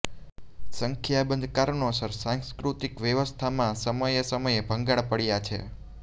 સંખ્યાબંધ કારણોસર સાંસ્કૃતિક વ્યવસ્થામાં સમયે સમયે ભંગાણ પડ્યા છે